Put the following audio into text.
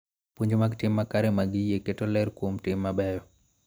Puonj mag tim makare mag yie keto ler kuom tim mabeyo .